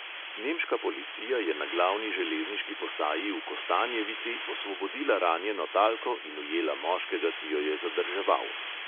Nemška policija je na glavni železniški postaji v kostanjevici osvobodila ranjeno talko in ujela moškega, ki jo je zadrževal.